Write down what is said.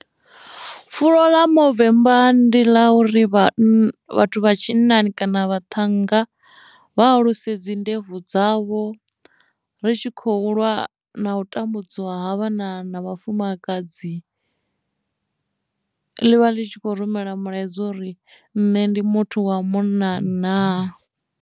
Pfulo ḽa muthemba ndi ḽa uri vhann vhathu vha tshinnani kana vha ṱhanga vha hulise dzi ndebvu dzavho ri tshi khou lwa na u tambudzwa ha vhana na vhafumakadzi ḽi vha ḽi tshi kho rumela mulaedza uri nṋe ndi muthu wa munna na.